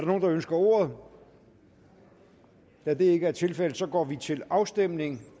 nogen der ønsker ordet da det ikke er tilfældet går vi til afstemning